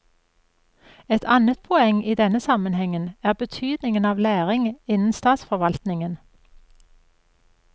Et annet poeng i denne sammenhengen er betydningen av læring innen statsforvaltningen.